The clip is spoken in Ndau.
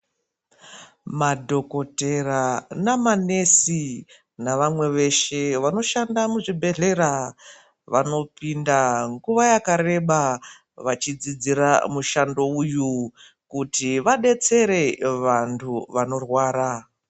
Madhokotera namanesi navamwe veshe vanoshanda muzvibhedhlera ,vanopinda nguwa yakareba vachidzidzira mushando uyu ,kuti vadetsere vantu vanorwara.